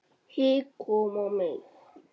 Hik kom á mig.